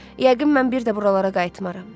Yəqin mən bir də buralara qayıtmaram.